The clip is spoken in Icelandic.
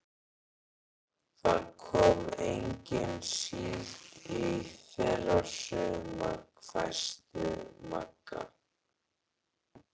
Það kom engin síld í fyrra sumar, hvæsti Magga.